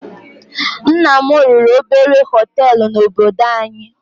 Nna m lụrụ obere hótelu na -obodo anyị.